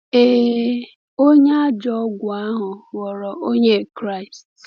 Ee, onye a ajọ ọgwụ ahụ ghọrọ Onye Kraịst.